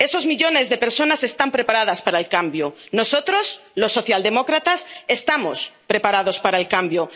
Esos millones de personas están preparadas para el cambio. Nosotros, los socialdemócratas, estamos preparados para el cambio.